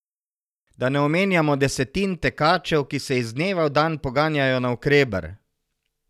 Da ne omenjamo desetin tekačev, ki se iz dneva v dan poganjajo navkreber!